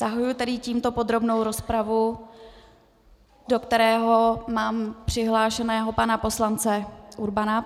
Zahajuji tedy tímto podrobnou rozpravu, do které mám přihlášeného pana poslance Urbana.